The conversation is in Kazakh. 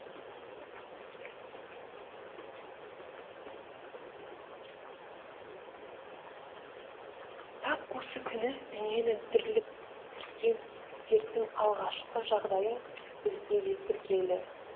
тап осы күні дүниені дүрліктірген дерттің алғашқы жағдайы бізде де тіркелді